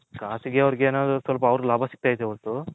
ಖಾಸಾಗಿ ಅವರಿಗೆ ಸ್ವಲ್ಪ ಅವರಿಗೆ ಲಾಬ ಸಿಗ್ತೈತೆ ವರ್ತು